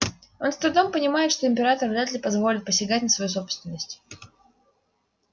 он с трудом понимает что император вряд ли позволит посягать на свою собственность